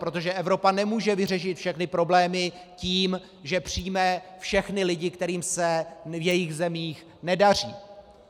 Protože Evropa nemůže vyřešit všechny problémy tím, že přijme všechny lidi, kterým se v jejich zemích nedaří.